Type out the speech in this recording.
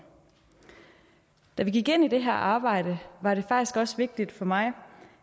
da vi gik ind i det her arbejde var det faktisk også vigtigt for mig